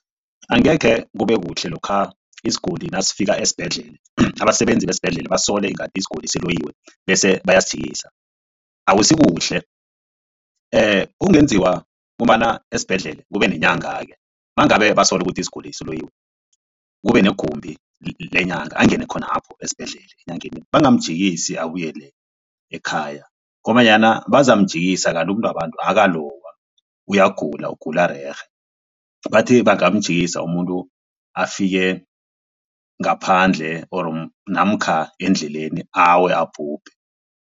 Angekhe kube kuhle lokha isiguli nasifika esibhedlela abasebenzi besibhedlela basole ngathi isiguli siloyiwe bese bayasilisa. Akusikuhle okungenziwa ngombana esibhedlela kube nenyanga-ke mangabe basola ukuthi isiguli siloyiwe kube negumbi lenyanga angene khonapho esibhedlela enyangeni. Bangamjikisi abuyele ekhaya ngombanyana bazamjikisa kanti umuntu wabantu akakaloywa uyagula ugula rerhe bathi bangamjikisa umuntu afike ngaphandle or namkha endleleni awe abhubhe.